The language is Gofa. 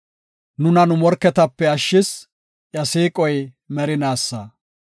Nuna nu morketape ashshis; iya siiqoy merinaasa.